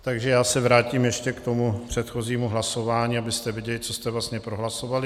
Takže já se vrátím ještě k tomu předchozímu hlasování, abyste věděli, co jste vlastně prohlasovali.